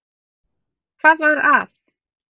Hvað var að?